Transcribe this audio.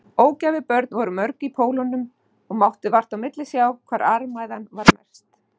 Ógæfubörn voru mörg í Pólunum og mátti vart á milli sjá hvar armæða var mest.